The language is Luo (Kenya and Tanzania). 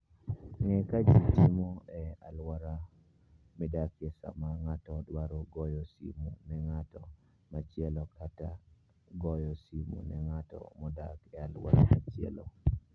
Ng'e kaka ji timo e alwora midakie sama ng'ato dwaro goyo simo ne ng'at machielo kata goyo simo ne ng'at modak e alwora machielo.